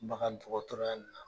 Bagan dɔgɔtɔrɔya nina